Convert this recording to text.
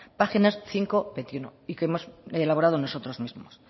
páginas cinco veintiuno y que hemos elaborado nosotros mismos